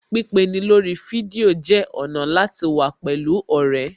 Pípeni lórí fídíò jẹ́ ọ̀nà láti wà pẹ̀lú ọ̀rẹ́